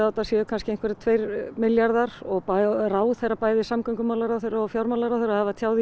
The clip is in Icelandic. þetta séu kannski einhverjir tveir milljarðar og ráðherra bæði samgöngumálaráðherra og fjármálaráðherra hafa tjáð í